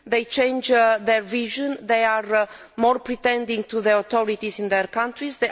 They are more demanding of the authorities in their countries.